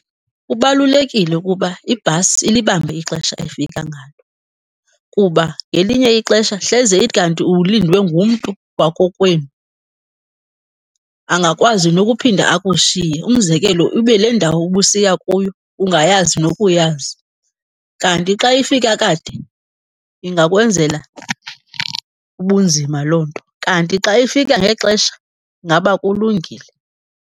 Kubalulekile ukuba ibhasi ilibambe ixesha efika ngalo kuba ngelinye ixesha hleze ithi kanti ulindwe ngumntu wakokwenu, angakwazi nokuphinda akushiye. Umzekelo, ibe le ndawo ubusiya kuyo ungayazi nokuyazi. Kanti xa ifika kade ingakwenzela ubunzima loo nto, kanti xa ifika ngexesha ingaba kulungile.